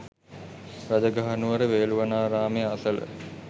රජගහනුවර වේළුවනාරාමය අසල